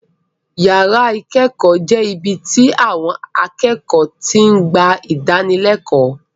Yàrá ìkẹ́kọ̀ọ́ jẹ́ ibi tí àwon akẹ́kọ̀ọ́ ti ń gba ìdánilẹ́kọ̀ọ́.